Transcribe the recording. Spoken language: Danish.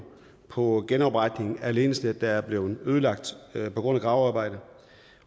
på genopretning af ledningsnet der er blevet ødelagt på grund af gravearbejde